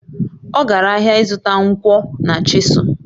Ọ gara ahịa ịzụta nkwọ na chịsụlụ